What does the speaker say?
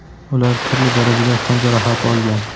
ular turli darajada tan jarohati olgan.